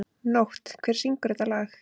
Nótt, hver syngur þetta lag?